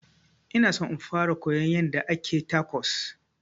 Ona son in fara koyon yanda ake tacos